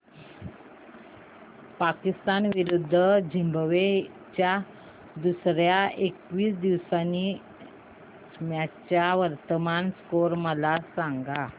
पाकिस्तान विरुद्ध झिम्बाब्वे च्या दुसर्या एकदिवसीय मॅच चा वर्तमान स्कोर मला सांगा